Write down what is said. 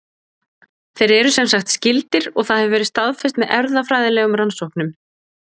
Þeir eru semsagt skyldir og það hefur verið staðfest með erfðafræðilegum rannsóknum.